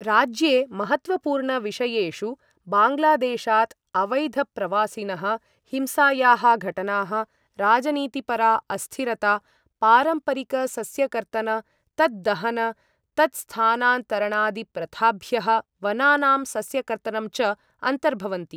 राज्ये महत्त्वपूर्णविषयेषु बाङ्ग्ला देशात् अवैधप्रवासिनः, हिंसायाः घटनाः, राजनीतिपरा अस्थिरता, पारम्परिकसस्यकर्तन तद्दहन तत्स्थानान्तरणादिप्रथाभ्यः वनानां सस्यकर्तनं च अन्तर्भवन्ति।